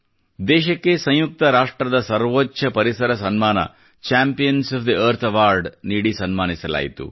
ದೇಶಕ್ಕೆ ಸಂಯುಕ್ತ ರಾಷ್ಟ್ರದ ಸರ್ವೊಚ್ಚ ಪರಿಸರ ಸನ್ಮಾನ champions of the earth awards ನೀಡಿ ಸನ್ಮಾನಿಸಲಾಯಿತು